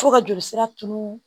Fo ka joli sira turu